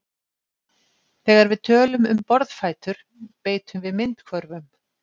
Þegar við tölum um borðfætur beitum við myndhvörfum.